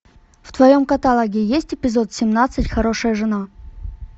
в твоем каталоге есть эпизод семнадцать хорошая жена